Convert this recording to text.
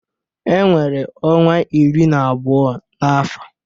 E nwere ọnwa iri na abụọ n'afọ.